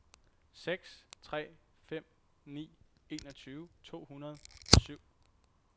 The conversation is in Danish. seks tre fem ni enogtyve to hundrede og syv